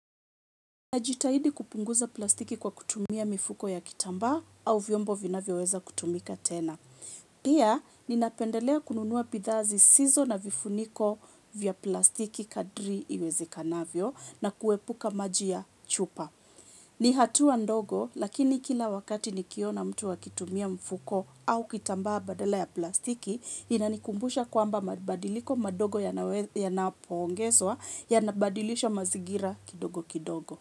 Najitahidi kupunguza plastiki kwa kutumia mifuko ya kitambaa au vyombo vinavyoweza kutumika tena. Pia, ninapendelea kununua bidhaa zisizo na vifuniko vya plastiki kadri iwezekanavyo na kuepuka maji ya chupa. Ni hatua ndogo, lakini kila wakati nikiona mtu akitumia mfuko au kitambaa badala ya plastiki, inanikumbusha kwamba mabadiliko madogo yanapoongezwa yanabadilisha mazingira kidogo kidogo.